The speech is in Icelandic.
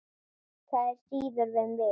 Það á síður við mig.